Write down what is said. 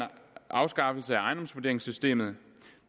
afskaffelse af ejendomsvurderingssystemet